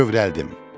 Kövrəldim.